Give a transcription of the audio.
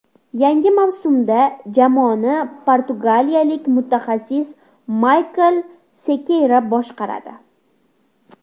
Yangi mavsumda jamoani portugaliyalik mutaxassis Mikael Sekeyra boshqaradi .